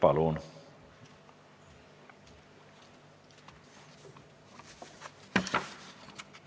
Palun!